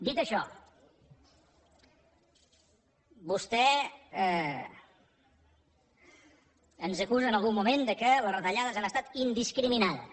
dit això vostè ens acusa en algun moment que les retallades han estat indiscriminades